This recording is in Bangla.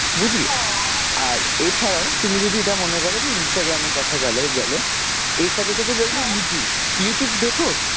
বুঝলে আর এছাড়াও তুমি যদি এটা মনে কর যে Instagram এর কথা গেলো গেলো এর সাথে সাথে যদি YouTube, YouTube দেখো